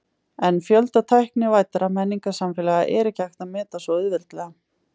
En fjölda tæknivæddra menningarsamfélaga er ekki hægt að meta svo auðveldlega.